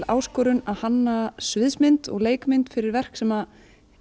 áskorun að hanna sviðsmynd og leikmynd fyrir verk sem